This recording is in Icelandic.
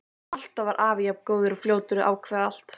Alltaf var afi jafn góður og fljótur að ákveða allt.